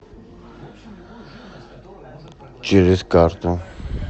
через карту